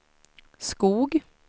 Skog